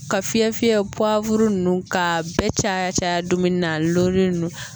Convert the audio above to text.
Ka fiyɛ fiyɛ ninnu ka bɛɛ caya caya dumuni na a gololen ninnu